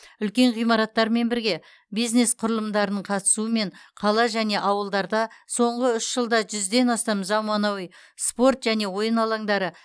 үлкен ғимараттармен бірге бизнес құрылымдардың қатысуымен қала және ауылдарда соңғы үш жылда жүзден астам замануи спорт және ойын алаңдары